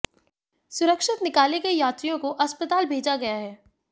सुरक्षित निकाले गए यात्रियों को अस्पताल भेजा गया है